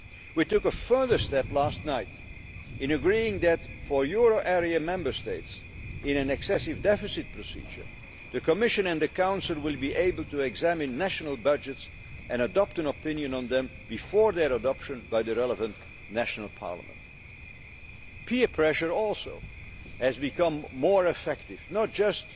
it. We took a further step last night in agreeing that, for euro area Member States in an excessive deficit procedure, the Commission and the Council will be able to examine national budgets and adopt an opinion on them before their adoption by the relevant national parliament. Peer pressure has also become more effective, not